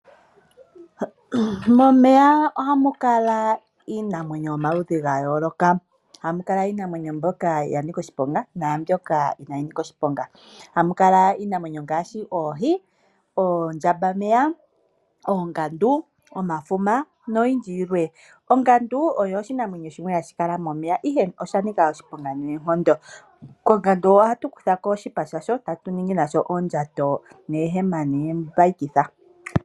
Momeya ohamu kala iinamwenyo yomaludhi gayooloka hamu kala iinamwenyo mbyoka yanika oshiponga naambyoka inaayinika oshiponga. Ohamu kala iinamwenyo ngaashi oohi, oondjambameya , oongadu, omafuma noyindji yilwe. Ongadu oyo oshinamwenyo shimwe hashi kala momeya ihe osha nika oshiponga noonkondo. Kongadu ohatu kutha ko oshipa shasho etatu ningi nasho oondjato, oohema noombayikitha.